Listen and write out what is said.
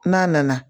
N'a nana